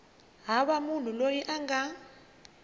hava munhu loyi a nga